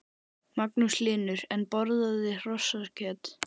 Magnús Hlynur: En borðarðu hrossakjöt?